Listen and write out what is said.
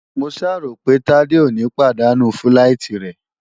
Mo ṣáà ròpé Tádé ò ní pàdánù fíláìtí rẹ̀?